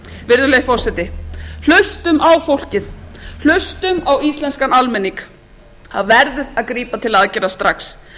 virðulegi forseti hlustum á fólkið hlustum á íslenskan almenning það verður að grípa til aðgerða strax boða þarf til